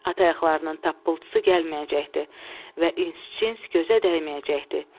At ayaqlarının taptıltısı gəlməyəcəkdi və ins-cins gözə dəyməyəcəkdi.